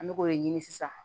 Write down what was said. An bɛ k'o de ɲini sisan